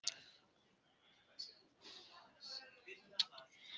Bæjartagl, Snorrastaðaskógur, Innstaá, Hrafnslækur